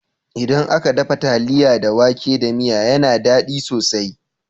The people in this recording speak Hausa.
Idan aka dafa taliya da wake da miya yana dadi sosai